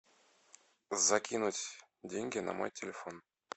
закинуть деньги на мой телефон